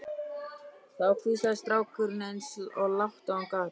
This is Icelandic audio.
Þá hvíslaði strákurinn eins og lágt og hann gat